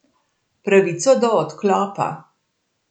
Pravico do odklopa.